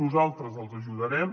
nosaltres els ajudarem